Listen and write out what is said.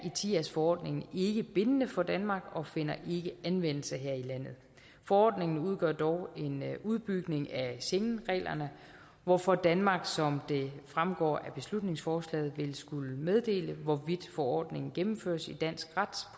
etias forordningen ikke bindende for danmark og finder ikke anvendelse her i landet forordningen udgør dog en udbygning af schengenreglerne hvorfor danmark som det fremgår af beslutningsforslaget vil skulle meddele hvorvidt forordningen gennemføres i dansk ret